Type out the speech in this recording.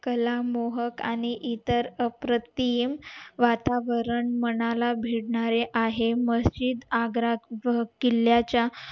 कला मोहक आणि इतर अप्रतिम वातारण मनाला भिडणारे आहे मशीद आग्रासह किल्ल्या च्या